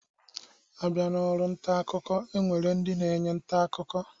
Abịa n'ọrụ ntaakụkọ, e nwere ndị na-enye ntaakụkọ